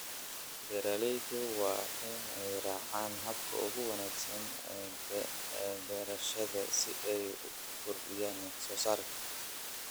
Beeralayda waa in ay raacaan habka ugu wanaagsan ee beerashada si ay u kordhiyaan wax soo saarka.